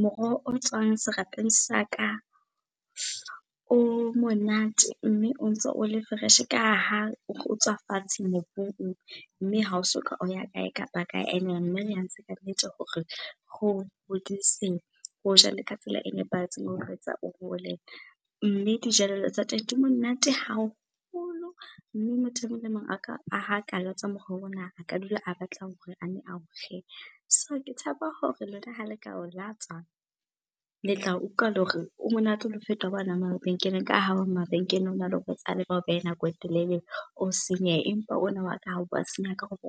Moroho o tswang serapeng saka, o monate mme o ntso o le fresh ka ha o tswa fatshe mobung mme ha o soka o ya kae kapa kae. Ene mme re ntse ka nnete hore re o hodise, re o jale ka tsela e nepahetseng, re o etsa o hole. Mme dijelello tsa teng di monate haholo mme motho e mong le mong ha ka latswa moroho ona, a ka dula a batla hore a ne a o je. So ke tshepa hore lona hale ka o latswa, le tla utlwa le hore o monate le ho feta wa mabenkeleng ka ha wa mabenkeleng ona le bao behe nako e telele, o senyehe. Empa ona wa ka